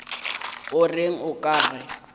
o reng o ka re